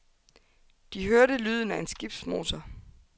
De hørte lyden af en skibsmotor.